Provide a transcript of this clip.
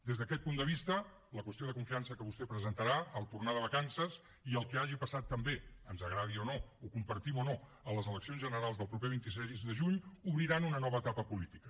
des d’aquest punt de vista la qüestió de confiança que vostè presentarà al tornar de vacances i el que hagi passat també ens agradi o no ho compartim o no a les eleccions generals del proper vint sis de juny obriran una nova etapa política